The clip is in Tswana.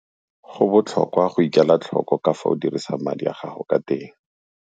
Go botlhokwa go ikela tlhoko ka fao o dirisang madi a gago ka teng.